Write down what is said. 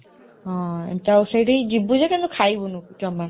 ହଁ, ସେଠିକି ଯିବୁ ଯେ କିନ୍ତୁ କିଛି ଖାଇବୁନି ଜମା